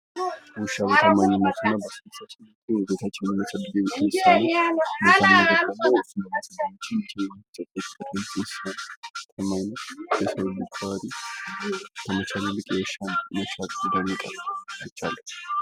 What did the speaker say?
ዉሻ በታማኝነቱ እና በአስደሳችነቱ የሰዉን ልጅ የሚጠቅም እንስሳ ነዉ። በታማኝነት የሰዉን ልጅ ባህሪ ከመቸዉም ይልቅ የዉሻን ይበልጥ አይቻለሁ።